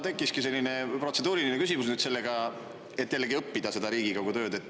Tekkiski täitsa protseduuriline küsimus seoses sellega, et jällegi õppida seda Riigikogu tööd.